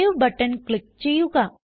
save button click ചെയ്യുക